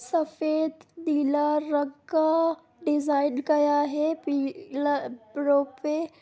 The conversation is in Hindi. सफ़ेद डीलर रखा डिज़ाइन कया है पि-ला प्रोपे--